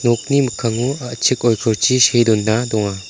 nokni mikkango a·chik oikorchi see dona donga.